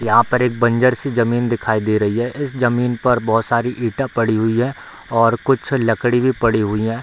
यहां पर एक बंजर सी जमीन दिखाई दे रही है इस जमीन पर बहुत सारी ईटा पड़ी हुई है और कुछ लकड़ी भी पड़ी हुई है।